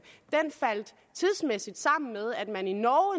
tidsmæssigt faldt sammen med at man i norge